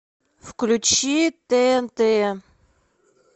включи тнт